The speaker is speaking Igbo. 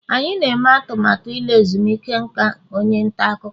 anyị na-eme atụmatụ ịla ezumike nka onye nta akụkọ